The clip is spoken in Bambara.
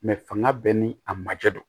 fanga bɛɛ ni a majɛ don